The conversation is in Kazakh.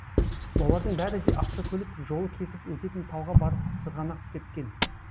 олардың бәрі де автокөлік жолы кесіп өтетін тауға барып сырғанақ тепкен